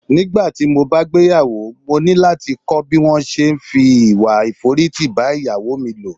Nígbàtí mo bá gbéyàwó, mo ní láti kọ́ bí wón se é fi ìwà ìforítì bá Ìyàwó mi lò.